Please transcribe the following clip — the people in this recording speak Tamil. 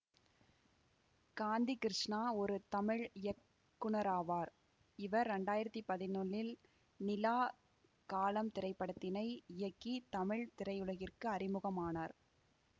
காந்தி கிருஷ்ணா ஒரு தமிழ் இயக்குனராவார் இவர் இரண்டாயிரத்தி பதினொன்னில் நிலா காலம் திரைப்படத்தினை இயக்கி தமிழ் திரையுலகிற்கு அறிமுகம் ஆனார்